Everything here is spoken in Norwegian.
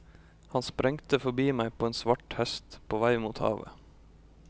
Han sprengte forbi meg på en svart hest, på vei mot havet.